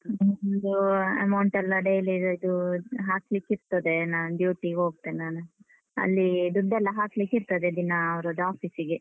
ಇದು amount ಎಲ್ಲ daily ಇದು ಹಾಕ್ಲಿಕಿರ್ತದೆ. ನಾನ್ duty ಗ್ ಹೋಗ್ತೇನ್ ನಾನು. ಅಲ್ಲಿ ದುಡ್ಡೆಲ್ಲ ಹಾಕ್ಲಿಕ್ಕಿರ್ತದೆ ದಿನಾ ಅವ್ರದ್ದ್ office ಗೆ.